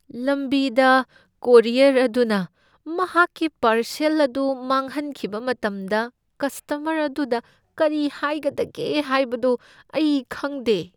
ꯂꯝꯕꯤꯗ ꯀꯣꯔꯤꯌꯔ ꯑꯗꯨꯅ ꯃꯍꯥꯛꯀꯤ ꯄꯥꯔꯁꯦꯜ ꯑꯗꯨ ꯃꯥꯡꯍꯟꯈꯤꯕ ꯃꯇꯝꯗ ꯀꯁꯇꯃꯔ ꯑꯗꯨꯗ ꯀꯔꯤ ꯍꯥꯏꯒꯗꯒꯦ ꯍꯥꯏꯕꯗꯨ ꯑꯩ ꯈꯪꯗꯦ꯫